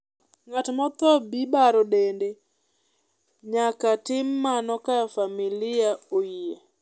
ngat mo tho bi baro dede nyaka tim mano ka famili oyie